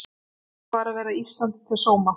Lofar að verða Íslandi til sóma